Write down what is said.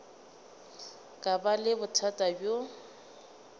ka ba le bothata bjo